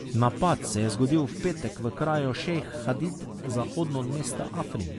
Napad se je zgodil v petek v kraju Šejh Hadid zahodno od mesta Afrin.